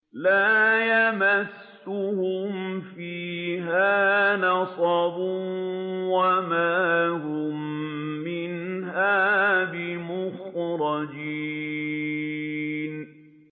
لَا يَمَسُّهُمْ فِيهَا نَصَبٌ وَمَا هُم مِّنْهَا بِمُخْرَجِينَ